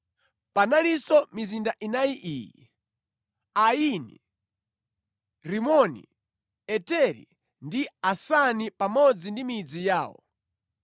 Panalinso mizinda inayi iyi: Aini, Rimoni, Eteri ndi Asani pamodzi ndi midzi yawo.